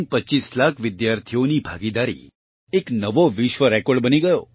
25 લાખ વિદ્યાર્થીઓStudentsની ભાગીદારી એક નવો વિશ્વ રેકોર્ડ બની ગયો